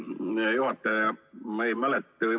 Hea juhataja!